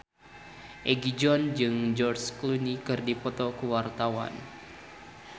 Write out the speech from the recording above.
Egi John jeung George Clooney keur dipoto ku wartawan